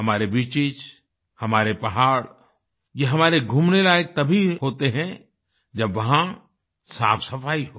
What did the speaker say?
हमारे बीचेस हमारे पहाड़ ये हमारे घूमने लायक तभी होते हैं जब वहाँ साफ सफाई हो